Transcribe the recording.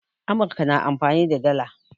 Amurka na amfani da dala